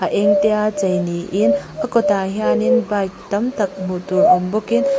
eng te a chei niin a kawtah hian in bike tam tak hmuh tur awm bawkin--